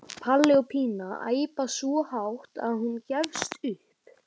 Palli og Pína æpa svo hátt að hún gefst upp.